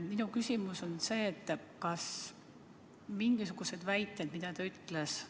Minu küsimus on see: kas te mingisuguseid väiteid, mis ta ütles, tunnistate?